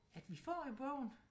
At vi får jo bogen